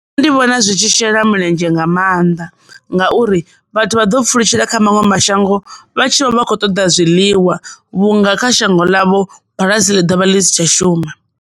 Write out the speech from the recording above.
Nṋe ndi vhona zwi tshi shela mulenzhe nga maanḓa ngauri vhathu vha ḓo pfulutshelaho kha maṅwe mashango vha tshi vha vha kho ṱoḓa zwiḽiwa vhunga kha shango ḽavho bulasi ḽi tshi dovha ḽi si tsha shuma.